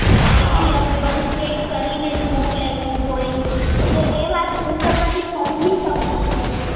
અહીં થી અમે બધું check કરીને જ મોકલાયવુ હોય તો એવાત હું તમારી સમજી શકું છું